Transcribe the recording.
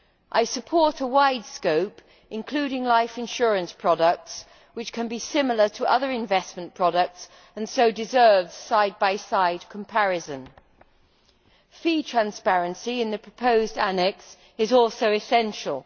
I support a wide scope, including life insurance products which can be similar to other investment products and thus deserve side by side comparison. Fee transparency in the proposed annex is also essential.